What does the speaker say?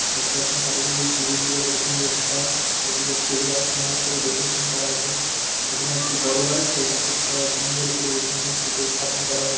দেখতে পাচ্ছেন চারিদিকে গ্রিরিল দিয়ে কত সুন্দর ঘেরা। চারদিকে ফুলগাছ সুন্দর করে ডেকোরেশন করা আছে। পিছনে একটি বড়ো গাছসেই গাছের ছায়া সুন্দর করে এসে মূর্তিতে স্থাপন করা হয়ে--